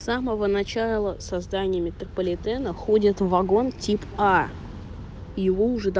с самого начала создания метрополитена ходит в вагон тип а и его уже да